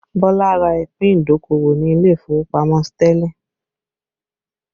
Bọlá ra ìpín idokowo ni ilé ìfowópamọ́ Sterling